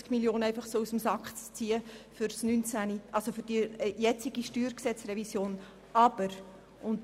Wir können keine 70 Mio. Franken für die jetzige StG-Revision hervorzaubern.